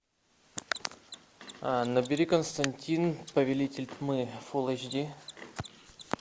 набери константин повелитель тьмы фулл эйч ди